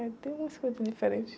É, tem umas coisas diferentes.